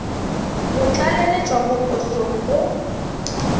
go tlaleletšwa mo posong go